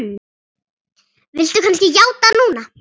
Viltu kannski játa núna?